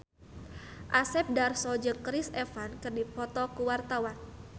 Asep Darso jeung Chris Evans keur dipoto ku wartawan